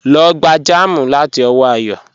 Lọ gbà jẹ́mí láti ọwọ́ Àyọ́